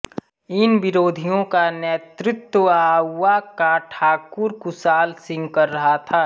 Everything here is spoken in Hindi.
इन विरोधियों का नेतृत्व आउवा का ठाकुर कुशाल सिंह कर रहा था